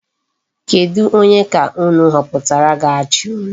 Kedu Onye ka unu họpụtara ga-achị unu?